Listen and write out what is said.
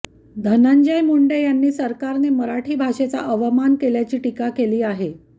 धनंजय मुंडे यांनी सरकारने मराठी भाषेचा अवमान केल्याची टीका केली आहे